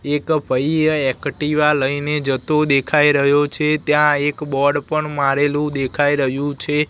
એક ભઈ અ એકટીવા લઈને જતો દેખાય રહ્યો છે ત્યાં એક બોર્ડ પણ મારેલું દેખાય રહ્યું છે.